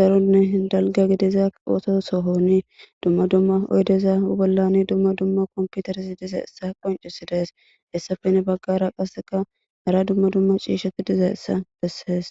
darunne dalga gidiza oosoo sohoni dumma dumma oydeza bollani duma dumma komputers dizaessa qoncisi dees hessafene baggara qasseka hara dumma dumma ciisheti diza essa bessees.